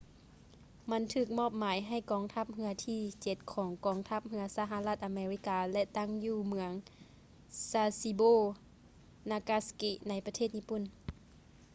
ມັນຖືກມອບໝາຍໃຫ້ກອງທັບເຮືອທີເຈັດຂອງກອງທັບເຮືອສະຫະລັດອາເມລິກາ ແລະ ຕັ້ງຢູ່ເມືອງ sasebo nagasaki ໃນປະເທດຍີ່ປຸ່ນ